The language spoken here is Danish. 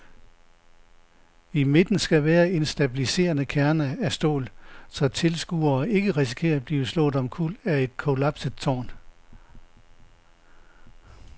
I midten skal være en stabiliserende kerne af stål, så tilskuere ikke risikerer at blive slået omkuld af et kollapset tårn.